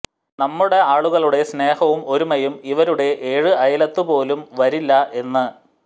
നമ്മുടെ ആളുകളുടെ സ്നേഹവും ഒരുമയും ഇവരുടെ ഏഴു അയലത്ത് പോലും വരില്ല എന്ന്